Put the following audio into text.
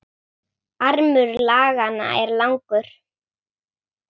Armur laganna er langur